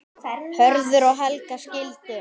Hörður og Helga skildu.